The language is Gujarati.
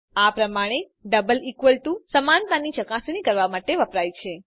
આ પ્રમાણે ડબલ ઇકવલ ટુ સમાનતાની ચકાસણી કરવા માટે વપરાય છે